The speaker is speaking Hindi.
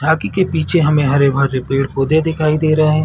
झॉकी के पीछे हमें हरे - भरे पेड़ - पौधे दिखाई दे रहै है।